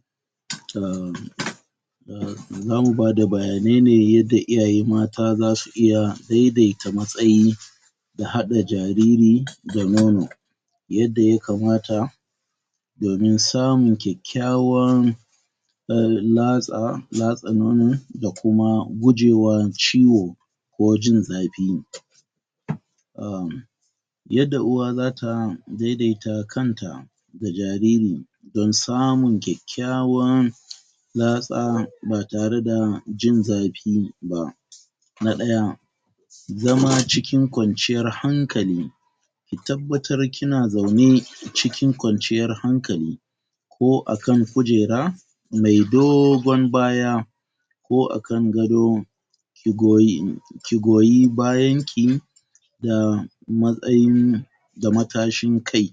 ? Zamu bada bayanai ne yadda iyaye mata za su iya daidata matsayin,? da haɗa jariri, ga nono,? yadda ya kamata,? domin samun ƙyaƙƙyawan,? latsa, latsa nono, da kuma gujewar ciwo,? ko jin zafi,? yadda uwa zata dai-daita kanta,? da jariri,? don samun ƙyaƙƙyawan,? latsa ba tare da jin zafi ba.? Na ɗaya,? zama cikin ƙwanciyar hankali,? ki tabbatar kina zaune, cikin ƙanciyar hankali,? ko a kankujera,? mai dogon baya,? ko a kan gado? ki goyi, ki goyi bayan ki,? da matsayin,? da matashin kai,?